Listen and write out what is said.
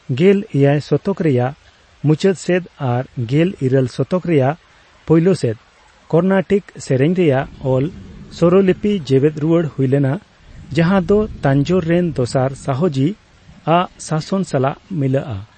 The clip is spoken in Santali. ᱜᱮᱞ ᱮᱭᱟᱭ ᱥᱚᱛᱚᱠ ᱨᱮᱭᱟᱜ ᱢᱩᱪᱟᱹᱫ ᱥᱮᱫ ᱟᱨ ᱜᱮᱞ ᱤᱨᱟᱹᱞ ᱥᱚᱛᱚᱠ ᱨᱮᱭᱟᱜ ᱯᱳᱭᱞᱳ ᱥᱮᱫ ᱠᱚᱨᱱᱟᱴᱤᱠ ᱥᱮᱨᱮᱧ ᱨᱮᱭᱟᱜ ᱚᱞ ᱥᱚᱨᱚᱞᱤᱯᱤ ᱡᱮᱣᱮᱫ ᱨᱩᱣᱟᱹᱲ ᱦᱩᱭᱞᱮᱱᱟ, ᱡᱟᱦᱟᱸ ᱫᱚ ᱛᱟᱧᱡᱳᱨ ᱨᱮᱱ ᱫᱚᱥᱟᱨ ᱥᱟᱦᱚᱡᱤ ᱟᱜ ᱥᱟᱥᱚᱱ ᱥᱟᱞᱟᱜ ᱢᱤᱞᱟᱹᱜᱼᱟ ᱾